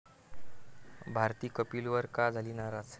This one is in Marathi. भारती कपिलवर का झाली नाराज?